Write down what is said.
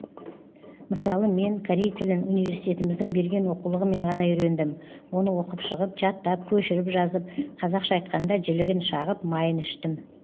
мысалы мен корей тілін университетіміздің берген оқулығымен ғана үйрендім оны оқып шығып жаттап көшіріп жазып қазақша айтқанда жілігін шағып майын іштім